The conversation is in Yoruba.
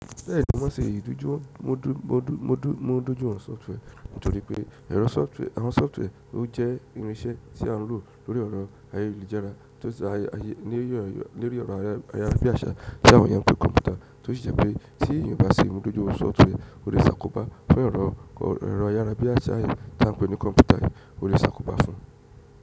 Lẹ́yìn tó máa n ṣe ìdojumo, ọdún mú ọdún mú ọdún mú dójú òhun sọfitẹ́ẹ̀rì nítorí pé ẹ̀rọ sọfitẹ́ẹ̀rì àwọn sọfitẹ́ẹ̀rì ọ jẹ́ irinṣẹ́ tí a ń lò lórí ọ̀rọ̀ ayélujára to--, lórí ero ayarabiasa ti àwọn eyan n pe ni computer, to si je pe ti eyan o ba se imojudu software, o le se àkóbá fún ero ayárá bí àṣá yẹn tá ń pè ní kọ̀npútà yẹn ó lè ṣàkóbá fún.